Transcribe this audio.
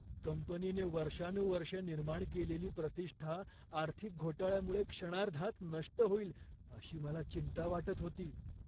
कंपनीने वर्षानुवर्षे निर्माण केलेली प्रतिष्ठा आर्थिक घोटाळ्यामुळे क्षणार्धात नष्ट होईल अशी मला चिंता वाटत होती.